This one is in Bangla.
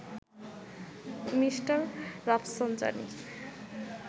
Mr Rafsanjani